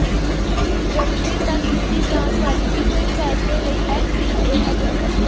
ਜਨਵਰੀ ਤਕ ਕੀਤੀ ਜਾਣ ਵਾਲੀ ਕਿਸੇ ਫੈਸਲੇ ਲਈ ਐਫ ਡੀ ਏ ਅਨੁਸੂਚੀ